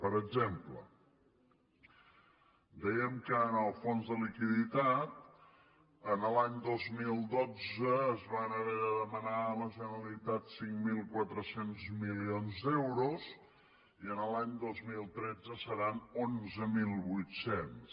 per exemple dèiem que en el fons de liquiditat l’any dos mil dotze es van haver de demanar a la generalitat cinc mil quatre cents milions d’euros i l’any dos mil tretze seran onze mil vuit cents